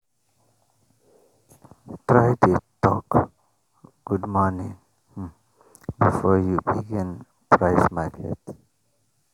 try dey talk "good morning " before you begin price market